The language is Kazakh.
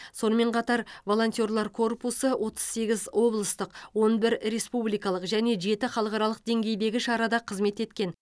сонымен қатар волонтерлар корпусы отыз сегіз облыстық он бір республикалық және жеті халықаралық деңгейдегі шарада қызмет еткен